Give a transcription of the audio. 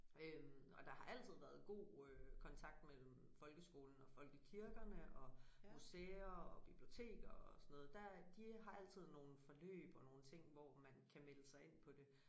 Øh og der har altid været god øh kontakt mellem folkeskolen og folkekirkerne og museer og biblioteker og sådan noget der de har altid nogle forløb og nogle ting hvor man kan melde sig ind på det